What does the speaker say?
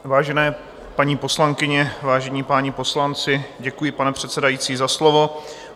Vážené paní poslankyně, vážení páni poslanci, děkuji, pane předsedající, za slovo.